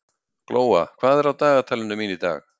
Glóa, hvað er á dagatalinu mínu í dag?